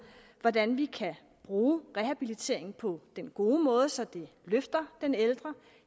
hvordan vi kan bruge rehabilitering på den gode måde så den løfter den ældre